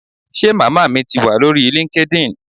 Ṣe màmá mi ti wa lórí linkedin?